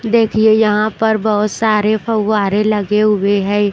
देखिए यहां पर बहोत सारे फव्वारे लगे हुए हैं।